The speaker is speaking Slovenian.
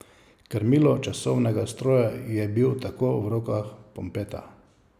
Krmilo časovnega stroja je bil tako v rokah Pompeta.